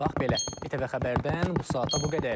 Bax belə, ATV Xəbərdən bu saata bu qədər.